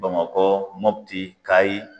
Bamakɔ Mɔpiti Kayi.